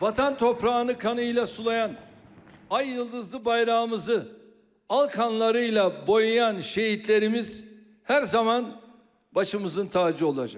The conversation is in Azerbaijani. Vətən torpağını qanıyla sulayan, ay-ulduzlu bayrağımızı al qanlarıyla boyayan şəhidlərimiz hər zaman başımızın tacı olacaq.